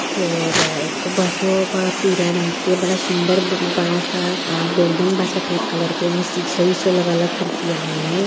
फिर एको बसवो पर पीला रंग के बडा सुंदर ब बडा सा अ बिल्डिंग बा सफेद कलर के ओमे सीसों ओशो लागल ह खिड़कीया में।